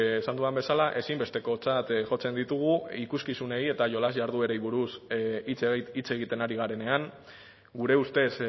esan dudan bezala ezinbestekotzat jotzen ditugu ikuskizunei eta jolas jarduerei buruz hitz egiten ari garenean gure ustez